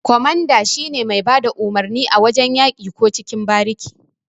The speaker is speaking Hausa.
Ƙwamanda shine mai bada umurni a wajan yaki ko cikin bariki.